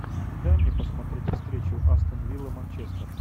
дай мне посмотреть встречу астон вилла манчестер